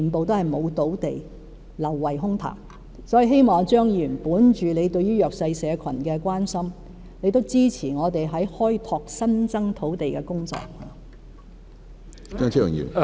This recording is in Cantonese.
所以，我希望張議員本着對弱勢社群的關心，支持我們開拓新增土地的工作。